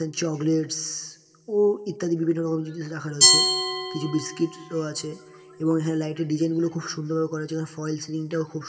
chocolates -স ও ইত্যাদি বিভিন্ন রকম জিনিস লেখা রয়েছে কিছু বিস্কিট ও আছে এবং এখানে লাইট এর ডিজাইন গুলো খুব সুন্দর করার ফলস সিলিং টাও খুব সুন্--